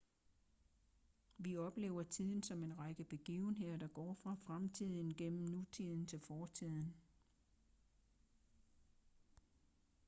vi oplever tiden som en række begivenheder der går fra fremtiden gennem nutiden til fortiden